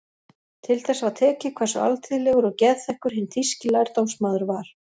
Til þess var tekið hversu alþýðlegur og geðþekkur hinn þýski lærdómsmaður var.